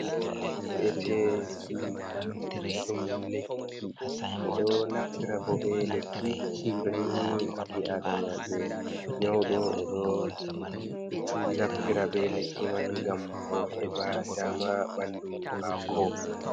Do hu’eteki ɗum lekki be do naftira bo be lekki ,to nini bi adamajo nyaudo o do naftira be lekki man gam bo heɓa dama bandu mako.